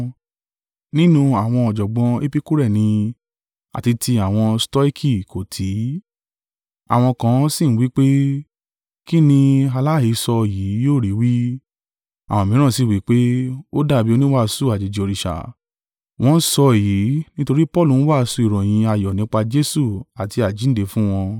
Nínú àwọn ọ̀jọ̀gbọ́n Epikure ni àti tí àwọn Stoiki kó tì í. Àwọn kan si ń wí pé, “Kín ni aláhesọ yìí yóò rí wí?” Àwọn mìíràn sì wí pé, “Ó dàbí oníwàásù àjèjì òrìṣà, wọ́n sọ èyí nítorí Paulu ń wàásù ìròyìn ayọ̀ nípa Jesu àti àjíǹde fún wọn.”